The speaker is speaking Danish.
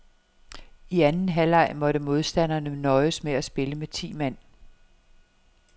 I anden halvleg måtte modstanderne nøjes med at spille med ti mand.